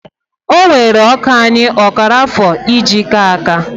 Ọ wéré ọkà anyị ọkara afọ e ji ka áká